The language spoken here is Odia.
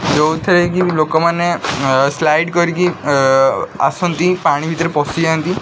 ଯଉଥିରେ କି ଲୋକମାନେ ସାଇଡ କରିକି ଆସନ୍ତି ପାଣିଭିତରେ ପଡିଯାନ୍ତି --